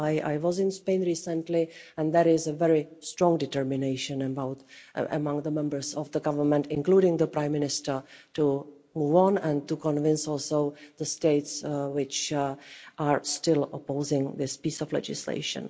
I was in Spain recently and there is very strong determination among the members of the government, including the Prime Minister, to move on and to convince also the states which are still opposing this piece of legislation.